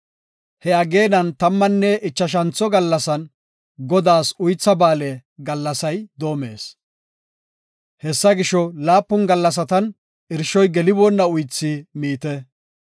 He ageenan tammanne ichashantho gallasan Godaas Uytha Ba7aale gallasay doomees. Hessa gisho, laapun gallasatan irshoy geliboonna uythi miite.